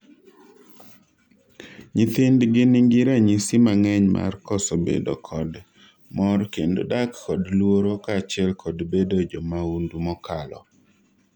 nyithindgi nigi ranyisi mang'eny mar koso bedo kod mor kendo dak kod luoro kaachiel kod bedo jomahundu mokalo